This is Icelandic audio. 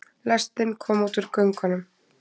Lestin kom út úr göngunum.